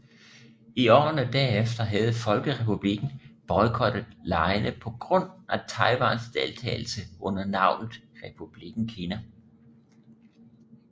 I årene derefter havde Folkerepublikken boykottet legene på grund af Taiwans deltagelse under navnet Republikken Kina